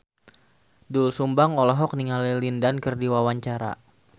Doel Sumbang olohok ningali Lin Dan keur diwawancara